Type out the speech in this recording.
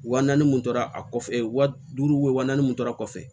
Wa naani mun tora a kɔfɛ wa duuru wa naani mun tora kɔfɛ